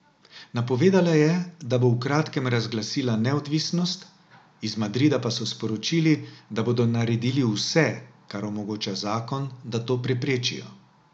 Napovedala je, da bo v kratkem razglasila neodvisnost, iz Madrida pa so sporočili, da bodo naredili vse, kar omogoča zakon, da to preprečijo.